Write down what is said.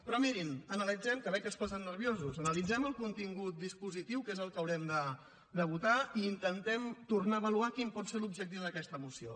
però mirin analitzem que veig que es posen nerviosos el contingut dispositiu que és el que haurem de votar i intentem tornar a avaluar quin pot ser l’objectiu d’aquesta moció